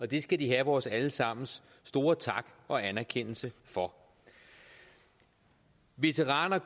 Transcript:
det skal de have vores alle sammens store tak og anerkendelse for veteraner